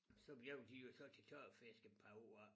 Så blev de jo så til tørfisk et par år af